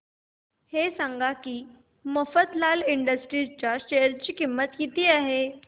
हे सांगा की मफतलाल इंडस्ट्रीज च्या शेअर ची किंमत किती आहे